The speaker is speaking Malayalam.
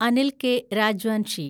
അനിൽ കെ. രാജ്വാൻഷി